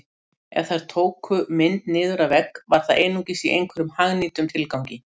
Ef þær tóku mynd niður af vegg var það einungis í einhverjum hagnýtum tilgangi